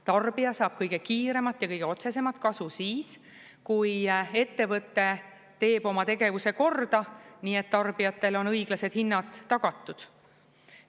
Tarbija saab kõige kiiremat ja kõige otsesemat kasu siis, kui ettevõte teeb oma tegevuse korda, nii et tarbijatele on õiglased hinnad tagatud.